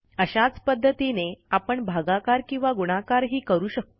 अशाच पध्दतीने आपण भागाकार किंवा गुणाकारही करू शकतो